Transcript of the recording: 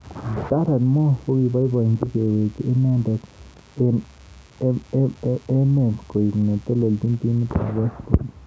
Darren Moore kokiboiboji kekwei inendet eng emetkoek netelejin timit ab West Brom.